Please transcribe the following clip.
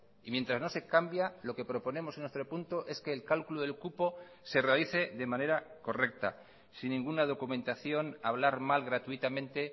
y mientras no se cambia lo que proponemos en nuestro punto es que el cálculo del cupo se realice de manera correcta sin ninguna documentación hablar mal gratuitamente